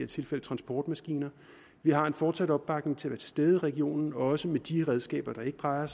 tilfælde transportmaskiner vi har en fortsat opbakning til at stede i regionen også med de redskaber der ikke drejer